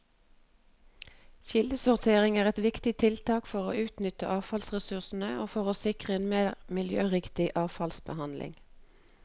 Kildesortering er et viktig tiltak for å utnytte avfallsressurser og for å sikre en mer miljøriktig avfallsbehandling.